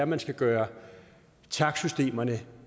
man skal gøre takstsystemerne